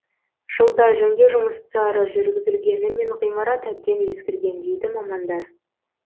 жылда жөндеу жұмыстары жүргізілгенімен ғимарат әбден ескірген дейді мамандар